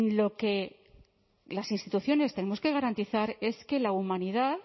lo que las instituciones tenemos que garantizar es que la humanidad